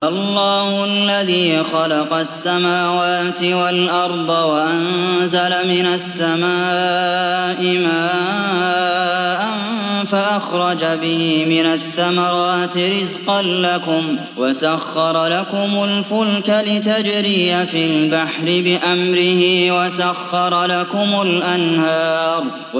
اللَّهُ الَّذِي خَلَقَ السَّمَاوَاتِ وَالْأَرْضَ وَأَنزَلَ مِنَ السَّمَاءِ مَاءً فَأَخْرَجَ بِهِ مِنَ الثَّمَرَاتِ رِزْقًا لَّكُمْ ۖ وَسَخَّرَ لَكُمُ الْفُلْكَ لِتَجْرِيَ فِي الْبَحْرِ بِأَمْرِهِ ۖ وَسَخَّرَ لَكُمُ الْأَنْهَارَ